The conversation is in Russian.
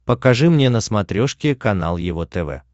покажи мне на смотрешке канал его тв